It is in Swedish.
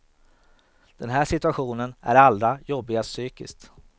Den här situationen är allra jobbigast psykiskt.